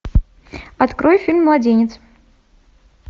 открой фильм младенец